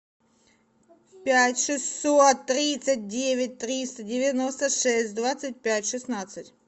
пять шестьсот тридцать девять триста девяносто шесть двадцать пять шестнадцать